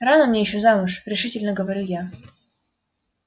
рано мне ещё замуж решительно говорю я